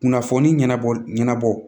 Kunnafoni ɲɛnabɔ ɲɛnabɔ